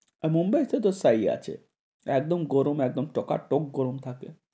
মুম্বাই তে তো তাই আছে, একদম গরম একদম টকাটক গরম থাকে।